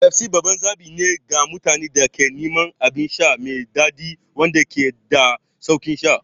Pepsi babban zaɓi ne ga mutanen da ke neman abin sha mai daɗi wanda ke da sauƙin sha.